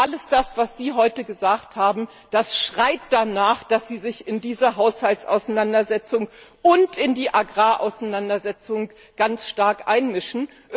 Alles das, was Sie heute gesagt haben, das schreit danach, dass Sie sich in diese Haushaltsauseinandersetzung und in die Agrarauseinandersetzung ganz stark einmischen.